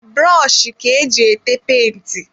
Brọshi ka eji ete penti.